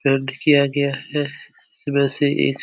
किया गया है । वैसे एक--